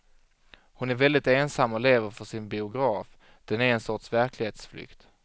Hon är väldigt ensam och lever för sin biograf, den är en sorts verklighetsflykt.